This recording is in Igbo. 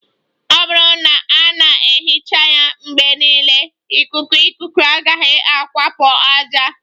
Ọ bụrụ na a na-ehicha ya mgbe niile, ikuku ikuku agaghị awakpo ájá